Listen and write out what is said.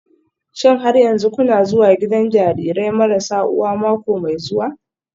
Shin har yanzu kuna zuwa gidan jarirai marasa uwa mako mai zuwa?